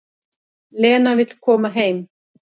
Lena vill koma heim.